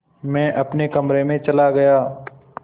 मैं अपने कमरे में चला गया